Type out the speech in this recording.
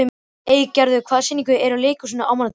Eygerður, hvaða sýningar eru í leikhúsinu á mánudaginn?